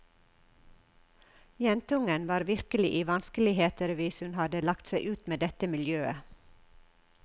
Jentungen var virkelig i vanskeligheter hvis hun hadde lagt seg ut med dette miljøet.